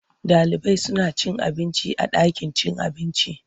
Ɗalibai suna cin abinci a ɗakin cin abinci.